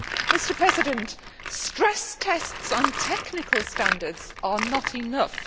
Mr President, stress tests on technical standards are not enough.